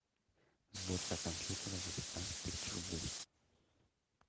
сборка компьютера за пятнадцать тысяч рублей